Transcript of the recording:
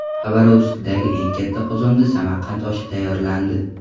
Xabarovskdagi eng katta qozonda Samarqand oshi tayyorlandi.